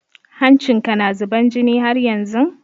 Hancin ka na zuban jini haryanzun?